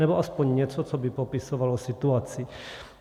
Nebo aspoň něco, co by popisovalo situaci.